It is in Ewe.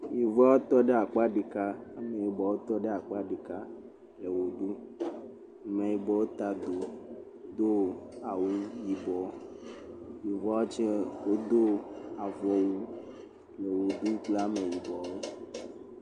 Yevua tɔ ɖe akpa ɖeka. Ameyibɔ tɔ ɖe akpa ɖeka. Le wɔ ɖum. Ameyibɔ ta do do awu yibɔ. Yɔvua tse wodo avɔwu le wɔ ɖum kple ameyibɔ.